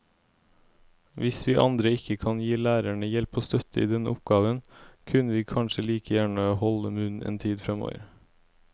Hvis vi andre ikke kan gi lærerne hjelp og støtte i denne oppgaven, kunne vi kanskje like gjerne holde munn en tid fremover.